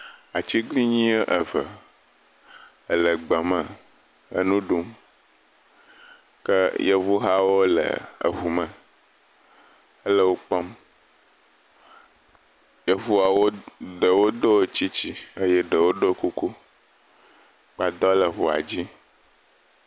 Atiglinyi eve ele gbeme enu ɖum ke yevu hawo le eŋu me hele wo kpɔm, yevuawo ɖewo ɖo tsitsi eye ɖewo ɖo kuku, gbadɔ le ŋua dzi.